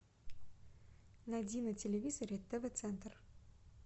найди на телевизоре тв центр